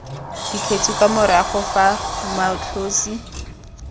dikgetsi kwa morago fa moatlhosi